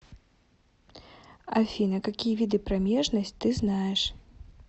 афина какие виды промежность ты знаешь